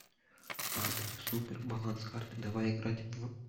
апп супер баланс карты давай играть в